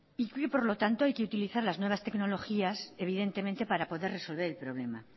y que por lo tanto hay que utilizar las nuevas tecnologías evidentemente para poder resolver el problema